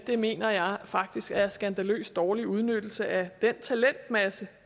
det mener jeg faktisk er en skandaløst dårlig udnyttelse af den talentmasse